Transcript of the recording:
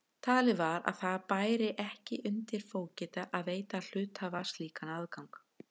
Talið var að það bæri ekki undir fógeta að veita hluthafa slíkan aðgang.